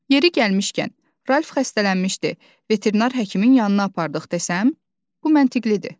Yeri gəlmişkən, Ralf xəstələnmişdi, veterinar həkimin yanına apardıq desəm, bu məntiqlidir.